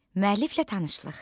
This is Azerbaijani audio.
Müəlliflə tanışlıq.